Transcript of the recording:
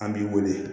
An b'i wele